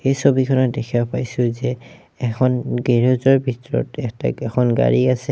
এই ছবিখনত দেখিব পাইছোঁ যে এখন গেৰেজ ৰ ভিতৰত এটা এখন গাড়ী আছে।